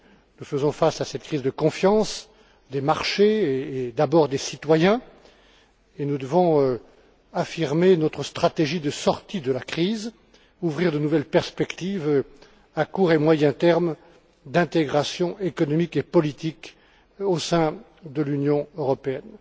Nous faisons face à cette crise de confiance, des marchés et, d'abord, des citoyens et nous devons affirmer notre stratégie de sortie de la crise, ouvrir de nouvelles perspectives à court et à moyen terme d'intégration économique et politique au sein de l'Union européenne.